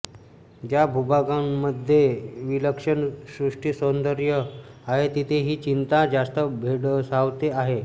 ज्या भूभागांमध्ये विलक्षण सृष्टीसौंदर्य आहे तिथे ही चिंता जास्त भेडसावते आहे